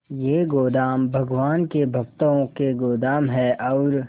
ये गोदाम भगवान के भक्तों के गोदाम है और